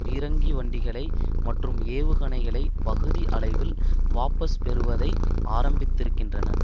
பீரங்கி வண்டிகளை மற்றும் ஏவுகணைகளை பகுதி அளவில் வாபஸ் பெறுவதை ஆரம்பித்திருக்கின்றன